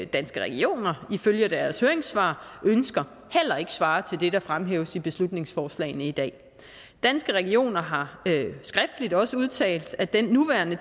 danske regioner ifølge deres høringssvar ønsker heller ikke svarer til det der fremhæves i beslutningsforslagene i dag danske regioner har skriftligt også udtalt at den nuværende